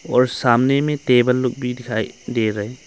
और सामने में टेबल लोग भी दिखाई दे रहे--